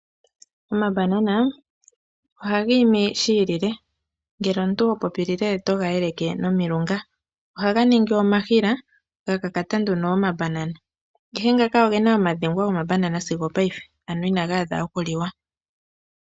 Omambanana ohaga imi shi iile, ngele omuntu ho popilile, oto ga eleke nomilunga. Ohaga ningi omahila ga kakata omambanana. Ngaka oge na ogongwa sigo ongaashingeyi, ano ina ga adha okuliwa.